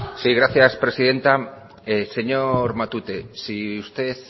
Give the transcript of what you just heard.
sí gracias presidenta señor matute si usted